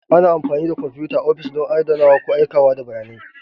Ana amfani da kwamfuta a ofis don adanawa ko aikawa da bayanai.